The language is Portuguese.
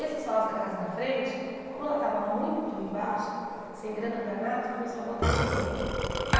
Esse sócio da casa da frente, como ela estava muito embaixo, sem grana para nada, ele começou a botar dinheiro.